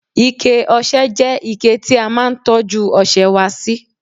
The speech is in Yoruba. ike ọsẹ je ike ti a máa n tọju ọsẹ wa si